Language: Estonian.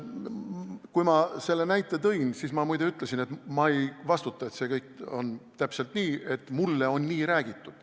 Kui ma selle näite tõin, siis ma muide ütlesin, et ma ei vastuta selle eest, kas see kõik on täpselt nii, ja et mulle on nii räägitud.